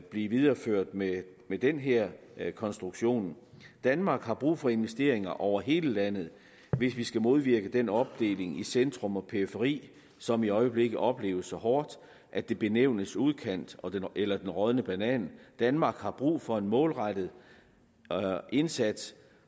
blive videreført med den her konstruktion danmark har brug for investeringer over hele landet hvis vi skal modvirke den opdeling i centrum og periferi som i øjeblikket opleves så hårdt at det benævnes udkantsdanmark eller den rådne banan danmark har brug for en målrettet indsats